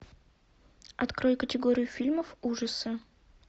открой категорию фильмов ужасы